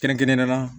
Kɛrɛnkɛrɛnnenya la